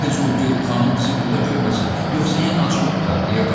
Tez ol, get, xanım bizi burda görməsin, yoxsa yenə acığı tutar!